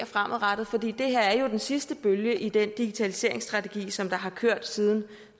fremadrettet for det her er jo den sidste bølge i den digitaliseringsstrategi som har kørt siden